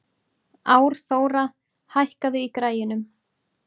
Árþóra, hækkaðu í græjunum.